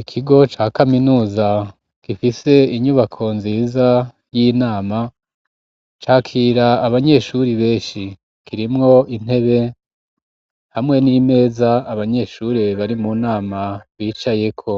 Ikigo ca kaminuza gifise inyubako nziza y'inama ,cakira abanyeshuri benshi, kirimwo intebe hamwe n'imeza abanyeshuri bari mu nama bicayeko,